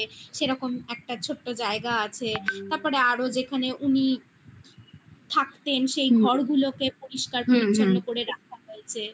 সেরকম একটা ছোট্ট জায়গা আছে তারপরে আরো যেখানে উনি থাকতেন হু হু সেই ঘরগুলোকে পরিষ্কার পরিছন্ন করে রাখা হয়েছে